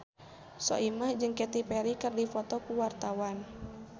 Soimah jeung Katy Perry keur dipoto ku wartawan